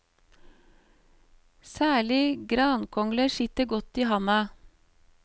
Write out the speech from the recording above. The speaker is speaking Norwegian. Særlig grankongler sitter godt i handa.